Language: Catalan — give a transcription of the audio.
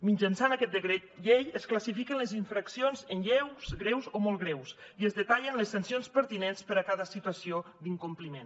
mitjançant aquest decret llei es classifiquen les infraccions en lleus greus o molt greus i es detallen les sancions pertinents per a cada situació d’incompliment